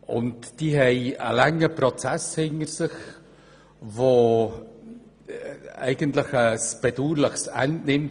Sie haben einen langen Prozess hinter sich, der ein bedauerliches Ende nimmt.